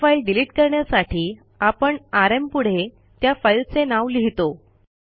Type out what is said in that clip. एक file delete करण्यासाठी आपण आरएम पुढे त्या फाईलचे नाव लिहितो